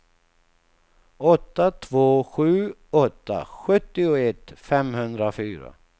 åtta två sju åtta sjuttioett femhundrafyra